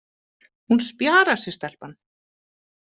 Hún spjarar sig, stelpan